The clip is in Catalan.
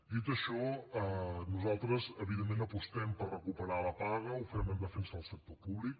dit això nosaltres evidentment apostem per recuperar la paga ho fem en defensa del sector públic